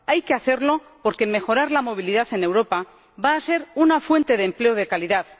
Hay que hacerlo, porque mejorar la movilidad en Europa va a ser una fuente de empleo de calidad.